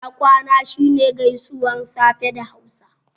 Ina kwana' shi ne gaisuwan safe da hausa